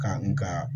Kan nka